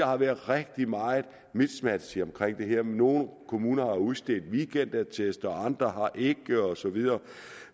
har været rigtig meget miskmask omkring det her nogle kommuner har udstedt weekendattester andre har ikke og så videre